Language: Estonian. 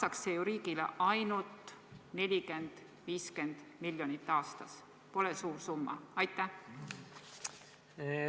Maksaks see ju riigile ainult 40–50 miljonit aastas, pole suur summa.